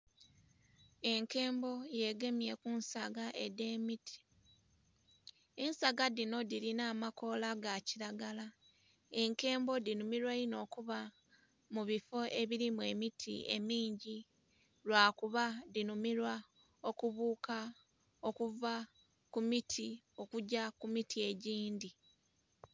Enkembo ye gemye ku nsaga edhe mit, ensaga dhino dhilina amakoola ga kilagala enkembo dhi nhumilwa inho okuba mu bifoo ebirimu emiti emingi lwakuba dhinhumilaa okubuuka okuva ku miti okgya ku miti egindhi.